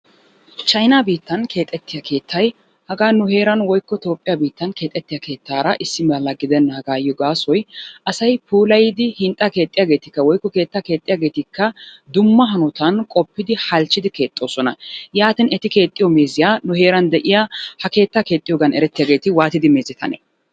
Chaynaa biittan keexxettiya hagaa nu heeraan woikko toophphiya biittan keexettiya keettaara issi mala gidenaagaayo gaasoy asay puulayidi hinxxaa keexxiyageettikka woikko keettaa keexxiyageettika dumma hanotan qoppidinne halchchidi keexxoosona. Yaatin eti keexxiyo meeziya heeran de'iyaa haa keettaa keexxiyogan erttiyageta waattidi meezetanee?